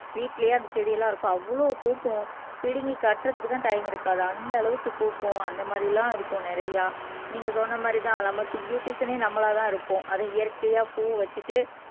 வீட்டிலேயே அந்த செடியெல்லாம் இருக்கும் அவ்வளவு பூக்கும் பிடுங்கி கட்டுறதுக்குத்தான் டைம் இருக்காது அந்த அளவுக்கு பூக்கும் அந்த மாறியெல்லாம் இருக்கும் நிறைய நீங்க சொன்ன மாறிதான் நமக்கு பியூட்டிசியன்னே நம்மளாதான் இருக்கும் அதை இயற்கையா பூ வச்சுட்டு